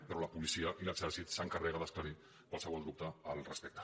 però la policia i l’exèrcit s’encarreguen d’esclarir qualsevol dubte al respecte